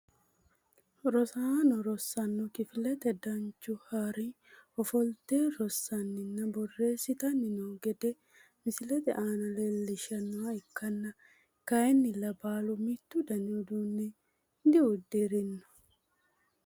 Rosaano rosaano kifilete danchu harini ofolte rosaninna boreesitani noo gede misilete aana leelishanoha ikkanna kayiinila baalu mittu dani uduune diudirino.